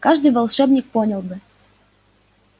каждый волшебник понял бы